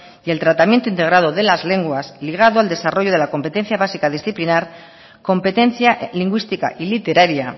y el tratamiento integrado de las lenguas ligado al desarrollo de la competencia básica disciplinar competencia lingüística y literaria